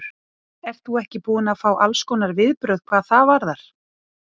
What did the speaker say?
Ert þú ekki búin að fá allskonar viðbrögð hvað það varðar?